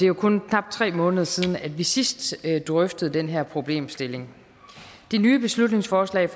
jo kun knap tre måneder siden vi sidst drøftede den her problemstilling det nye beslutningsforslag